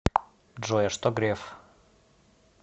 джой а что греф